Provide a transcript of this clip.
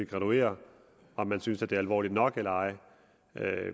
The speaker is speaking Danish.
graduere om man synes det er alvorligt nok eller ej